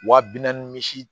Wa bi naani misi